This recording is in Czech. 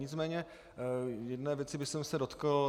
Nicméně jedné věci bych se dotkl.